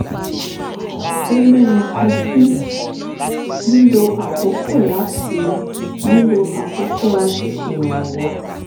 ó mẹ́nu kan bí um lílo àkókò láti lílo àkókò láti ṣèrànwọ́